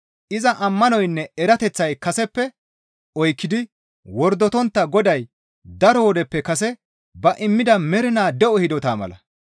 iza ammanoynne erateththay kaseppe oykkidi wordotontta Goday daro wodeppe kase ba immida mernaa de7o hidota mala.